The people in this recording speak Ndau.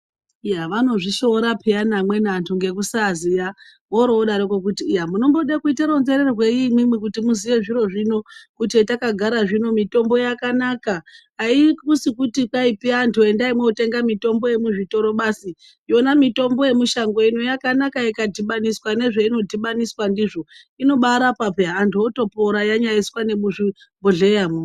Iya vanozvishoora pheyani amweni antu ngekusaziya oro vodaroko kuti iya ,munombode kuite ronzererwei imwimwi kuti muziye zviro zvino. Kuti zvatakagara zvino mitombo yakanaka haikusi kutipi vantu itoendai motenga mitombo yemuzvitoro basi. Yona mitombo yemushango ino yakanaka ikadhibaniswa nezvainodhibaniswa ndizvo. Inobaarapa pheya ,antu otopora yanyaiswa nemuzvibhedhleyamwo.